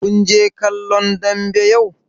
Kun je kallon dambe yau?